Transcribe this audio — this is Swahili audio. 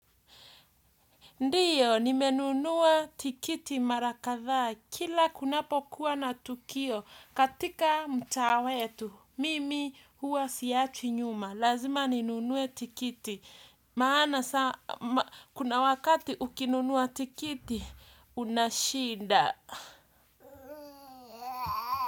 Ndio, nimenunua tikiti mara kadhaa, kila kunapo kuwa na tukio, katika mtaa wetu, mimi huwa siachwi nyuma, lazima ninunue tikiti, maana kuna wakati ukinunua tikiti kuna shida.